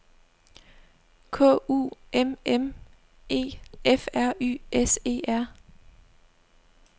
K U M M E F R Y S E R